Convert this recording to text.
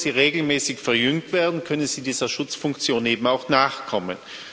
Nur wenn sie regelmäßig verjüngt werden, können sie dieser Schutzfunktion eben auch nachkommen.